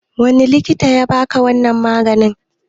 Wani likita yabaka wannan maganin?